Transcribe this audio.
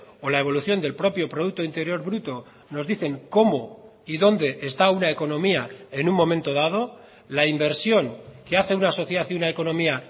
o la evolución del propio producto interior bruto nos dicen cómo y dónde está una economía en un momento dado la inversión que hace una sociedad y una economía